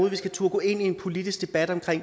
at vi skal turde gå ind i en politisk debat om